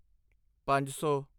ਪੰਜ ਸੌ